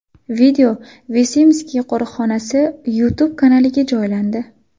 Video Visimskiy qo‘riqxonasi YouTube kanaliga joylandi.